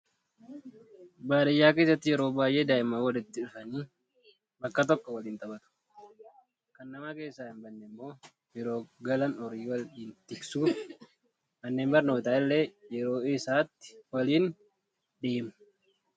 Baadiyyaa keessatti yeroo baay'ee daa'imman walitti dhufanii bakka tokko waliin ni taphatu. Kan nama keessaa hin baane immoo yeroo galan horii waliin tiksuu fi manneen barnootaa illee yeroo isaatti waliin deemu